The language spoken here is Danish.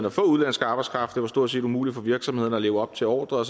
at få udenlandsk arbejdskraft det var stort set umuligt for virksomhederne at leve op til ordrer og